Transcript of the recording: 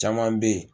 Caman bɛ yen